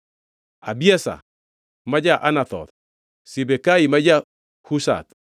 Abiezer ma ja-Anathoth, Sibekai ma ja-Hushath,